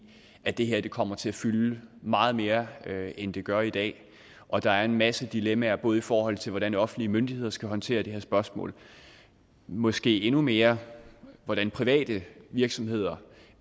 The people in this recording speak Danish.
at det her kommer til at fylde meget mere end det gør i dag og at der er en masse dilemmaer både i forhold til hvordan offentlige myndigheder skal håndtere det her spørgsmål og måske endnu mere hvordan private virksomheder